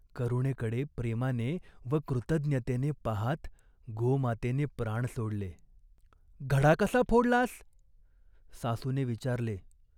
करुणेकडे प्रेमाने व कृतज्ञतेने पाहात गोमातेने प्राण सोडले ! "घडा कसा फोडलास ?" सासूने विचारले.